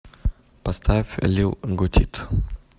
поставь лил готит